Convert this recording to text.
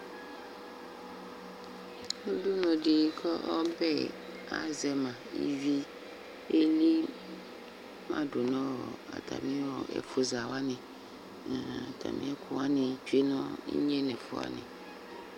Ʋdʋnʋ di kʋ ɔbɛ azɛma ivi elima dʋ nʋ atami ɛfʋza wani atami ɛkʋ wani tsue nʋ inye nʋ ɛfʋ wani